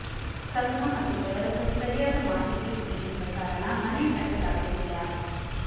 ಸಂಘ ಮತ್ತು ಡೆವಲಪರ್ ಸರಿಯಾದ ಮಾಹಿತಿ ಒದಗಿಸದ ಕಾರಣ ಮನೆ ಕಟ್ಟಲಾಗುತ್ತಿಲ್ಲ